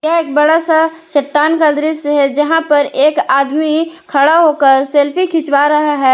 एक बड़ा सा चट्टान का दृश्य है जहां पर एक आदमी खड़ा होकर सेल्फी खिंचवा रहा है।